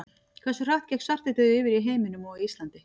Hversu hratt gekk svartidauði yfir í heiminum og á Íslandi?